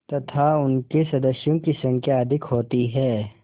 तथा उनके सदस्यों की संख्या अधिक होती है